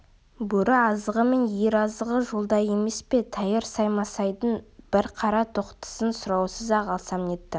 бөрі азығы мен ер азығы жолда емес пе тәйірі саймасайдың бір қара тоқтысын сұраусыз-ақ алсам нетті